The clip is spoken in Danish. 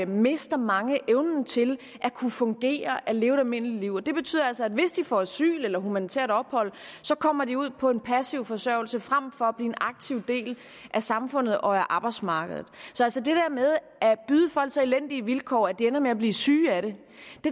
mister mange evnen til at kunne fungere at leve et almindeligt liv det betyder altså at hvis de får asyl eller humanitært ophold kommer de ud på en passiv forsørgelse frem for at blive en aktiv del af samfundet og af arbejdsmarkedet så altså det der med at byde folk så elendige vilkår at de ender med at blive syge af dem